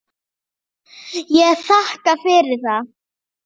Ég þakka fyrir það.